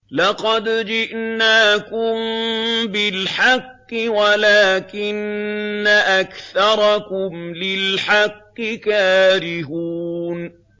لَقَدْ جِئْنَاكُم بِالْحَقِّ وَلَٰكِنَّ أَكْثَرَكُمْ لِلْحَقِّ كَارِهُونَ